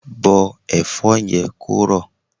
Bọ́ Ẹ̀fọ́ yẹn kó rọ̀!